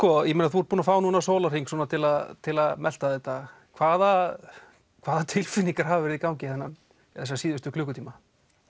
þú ert búinn að fá núna sólarhring til að til að melta þetta hvaða hvaða tilfinningar hafa verið í gangi þessa síðustu klukkutíma